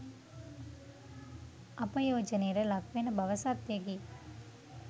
අපයෝජනයට ලක්වෙන බව සත්‍යයකි.